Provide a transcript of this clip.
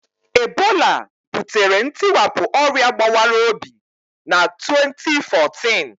Ebola butere ntiwapụ ọrịa gbawara obi na 2014.